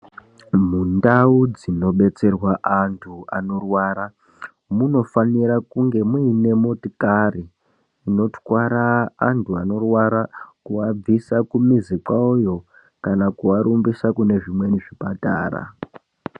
Mundau dzinobetserwa antu anorwara munofanira kunge muine motokari inotwara antu anorwara kuvabvisa kumuzi kwavoyo kana kuvarumbisa kune zvimweni zvipatara.